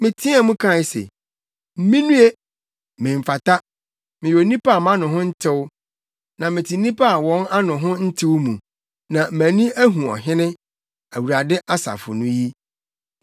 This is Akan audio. Meteɛɛ mu kae se, “Minnue! Memfata! Meyɛ onipa a mʼano ho ntew, na mete nnipa a wɔn ano ho ntew mu, na mʼani ahu Ɔhene, Awurade Asafo no yi.”